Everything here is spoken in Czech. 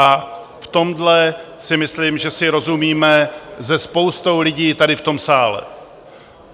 A v tomhle si myslím, že si rozumíme se spoustou lidí tady v tom sále.